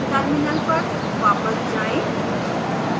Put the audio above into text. terminal पर वापस जाएं